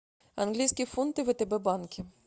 английские фунты в втб банке